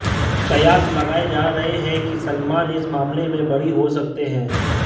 कयास लगाए जा रहे हैं कि सलमान इस मामले में बरी हो सकते हैं